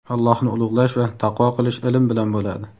Allohni ulug‘lash va taqvo qilish ilm bilan bo‘ladi.